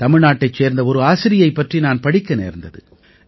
தமிழ்நாட்டைச் சேர்ந்த ஒரு ஆசிரியை பற்றி நான் படிக்க நேர்ந்தது